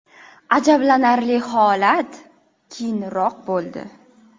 Ajablanarli holat keyinroq bo‘ldi.